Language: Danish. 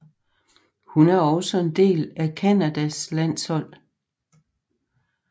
Hun er også en del af Canadas landshold